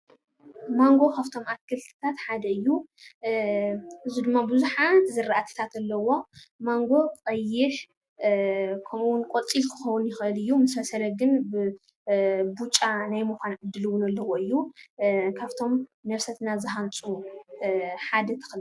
ማንጎ ካፍቶም ኣትክልትታት ሓደ እዩ። እዚ ድማ ብዙሓት ዝራእትታት ኣለውዎ። ማንጎ ቀይሕ ከምኡ ውን ቆፂል ክኸውን ይክእል እዩ። ምስ በሰለ ግን ብጫ ናይ ምኻን ዕድል ውን ኣለዎ እዩ። ካፍቶም ነፍሰትና ዝሃንፁ ሓደ ተኽሊ እዩ።